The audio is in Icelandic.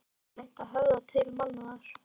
Getur reynt að höfða til mannúðar.